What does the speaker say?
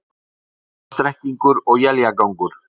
Suðvestan strekkingur og éljagangur